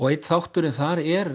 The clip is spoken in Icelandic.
einn þáttur en það er